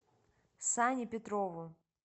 сане петрову